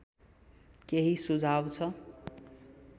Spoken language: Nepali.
केही सुझाव छ